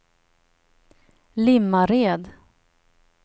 Limmared